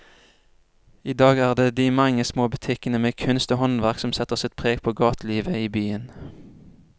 I dag er det de mange små butikkene med kunst og håndverk som setter sitt preg på gatelivet i byen.